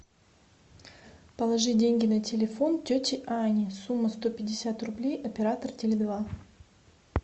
положи деньги на телефон тете ане сумма сто пятьдесят рублей оператор теле два